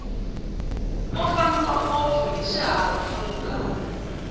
ku fambiwa ngopfu hiswi hahampfuka